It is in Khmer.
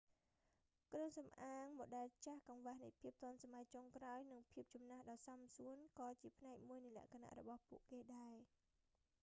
គ្រឿងសំអាងម៉ូដែលចាស់ កង្វះនៃភាពទាន់សម័យចុងក្រោយនិងភាពចំនាស់ដ៏សមសួនក៏ជាផ្នែកមួយនៃលក្ខណៈរបស់ពួកគេដែរ